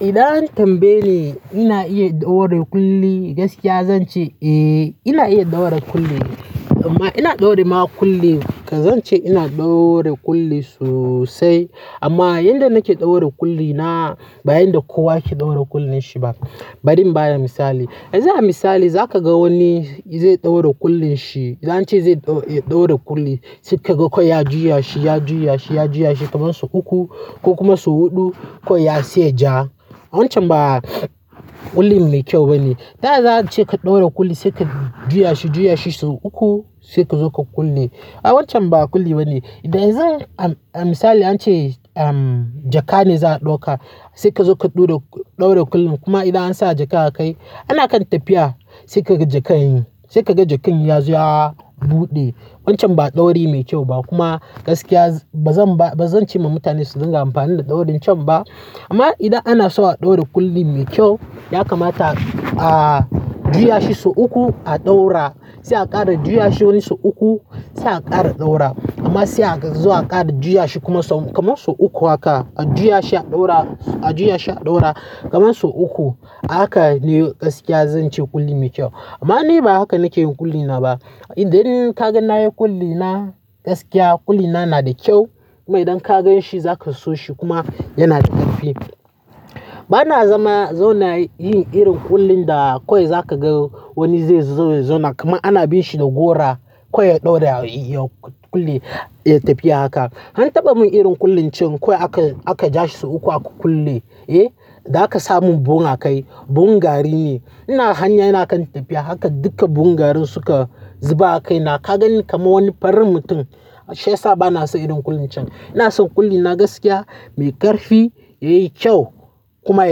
Idan tambaye ni ina iya ɗaura kulli, gaskiya zan ce eh ina iya ɗaura kulli amma ina ɗaura ma kulli, ka zan ce ina ɗaura kulli sosai. Amma yanda nake ɗaura kulli na bayan da kowa yake ɗaura kullin shi ba, bari in ba da misali. Yanzu a misali zaka ga wani zai ɗaura kullin shi, zanci zai ɗaura kulli sai kai ga kwai ya juya shi, ya juya shi, ya juya shi kamar sau uku ko kuma sau huɗu kwai ya siye ja. Wancan ba kullin ne kyau bane. Taya za a ce ka ɗaura kulli sai ka juya shi, juya shi sau uku sai ka zo ka kulle. Ai wancan ba kulli bane. Toh yanzu a misali an ce jaka ne za a ɗauka, sai ka zo ka ɗaura kullun kuma idan an sa jaka a kai ana kan tafiya sai ka ga jakan, sai ka ga jakan ya zo ya buɗe. Wancan ba ɗauri mai kyau ba kuma gaskiya ba zan ce ma mutane su dinga amfani da ɗaurin can ba. Amma idan ana so a ɗaura kulli mai kyau, ya kamata a juya shi sau uku, a ɗaura, sai a ƙara juya shi wani sau uku, sai a ƙara ɗaura amma sai a zo a ƙara juya shi kuma sau uku haka, a juya shi a ɗaura, a juya shi a ɗaura kamar sau uku. Haka ne gaskiya zan ce kulli mai kyau. Amma ni ba haka nake yin kulli na ba. Idan kaga na yi kulli na, gaskiya kulli na nada kyau kuma idan ka gan shi za ka so shi kuma yana da ƙarfi. Bana zama zona yin irin kullin da kwai za ka ga wani zai zo na kuma ana bin shi da gora kwai ya ɗaura ya kulli ya yi tafi a haka. An taɓa mun irin kullin can kwai aka ja shi sau uku aka kulle, eh, da aka samun buhun a kai, buhun gari ne. Ina hanya yana kan tafiya haka duka buhun garin suka zuba a kai na ka ganni kaman wani farin mutum. Shi yasa bana son irin kullin can. Ina son kulli na gaskiya mai ƙarfi, ya yi kyau kuma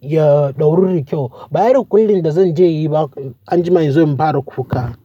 ya ɗauru da kyau. Ba irin kullin da zan je inyi ba anjima in zo in fara kuka.